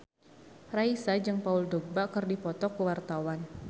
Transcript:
Raisa jeung Paul Dogba keur dipoto ku wartawan